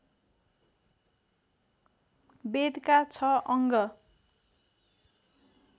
वेदका छ अङ्ग